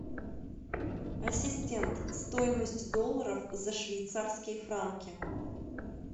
ассистент стоимость долларов за швейцарские франки